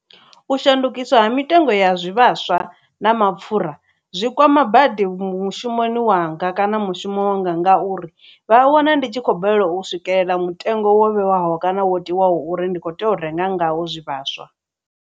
U shandukiswa ha mitengo ya zwivhaswa na mapfhura zwi kwama badi mushumoni wanga kana mushumo nga ngauri vha a wana ndi tshi khou balelwa u swikelela mutengo wo vhewaho kana wo tiwaho uri ndi kho tea u renga ngaho zwivhaswa.